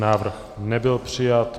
Návrh nebyl přijat.